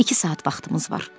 İki saat vaxtımız var.